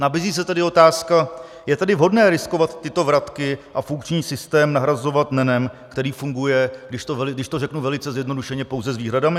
Nabízí se tedy otázka: Je tedy vhodné riskovat tyto vratky a funkční systém nahrazovat NENem, který funguje, když to řeknu velice zjednodušeně, pouze s výhradami?